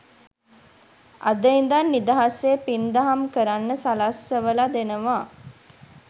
අද ඉඳන් නිදහසේ පින්දහම් කරන්න සලස්සවල දෙනව.